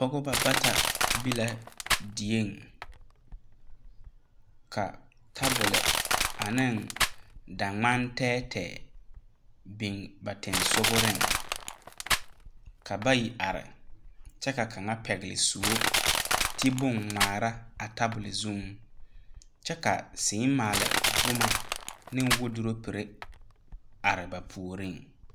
Pɔgeba bata be la die, ka tabol ane daŋmane tɛɛtɛɛ biŋ ba tensogre ka bayi are kyɛ ka kaŋa pegle sɔo ti bonne ŋmaare a tabol zuŋ kyɛ ka seɛmaali boma ne wadoropere are ba puori.